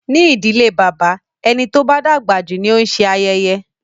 Ní ìdílé bàbá, ẹni tó bá dàgbà jù ni ó ń se ayẹyẹ.